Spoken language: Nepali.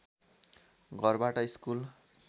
घरबाट स्कुल